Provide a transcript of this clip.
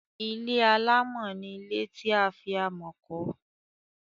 ilé alámọ̀ ni ilé tí a fi amọ̀ kọ́.